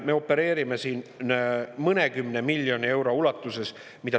Me opereerime mõnekümne miljoni euro ulatuses.